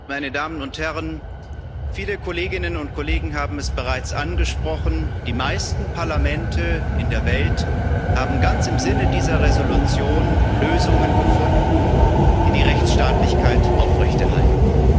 Meine Damen und Herren, viele Kolleginnen und Kollegen haben es bereits angesprochen Die meisten Parlamente in der Welt haben ganz im Sinne dieser Entschließung Lösungen gefunden, die die Rechtsstaatlichkeit aufrechterhalten.